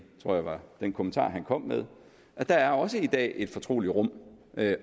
den kommentar han kom med at der også i dag er et fortroligt rum